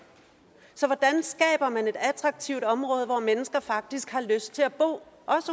så hvordan skaber man et attraktivt område hvor mennesker faktisk har lyst til at bo